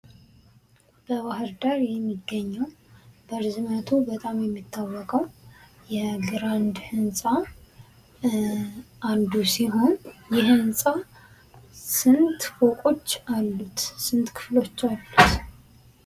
በባህር ዳር የሚገኘው በጣም የሚታወቀው የግራንድ ህንፃ አንዱ ሲሆን ይህም ህንፃ ስንት ፎቆች አሉት? ስንት ክፍሎች አሉት?